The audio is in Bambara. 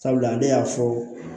Sabula ale y'a fɔ